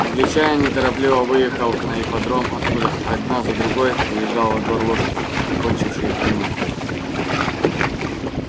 англичанин неторопливо выехал на ипподром откуда одна за другой выезжали во двор лошади окончившие проминку